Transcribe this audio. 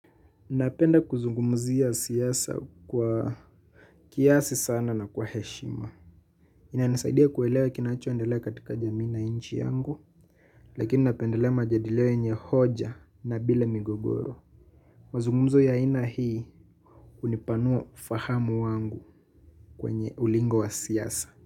Napenda kuzungumzia siasa kwa kiasi sana na kwa heshima. Ina nisaidia kuelewa kinachoendelea katika jamii na nchi yangu, lakini napendelea majadilio yenye hoja na bila migogoro. Mazungumzo ya aina hii hunipanua ufahamu wangu kwenye ulingo wa siasa.